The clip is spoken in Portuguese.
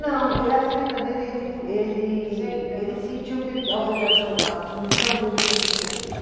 Não, eh a saída dele, ele vi, ele ele sentiu que ele, a obrigação, a missão dele tinha sido cumprida.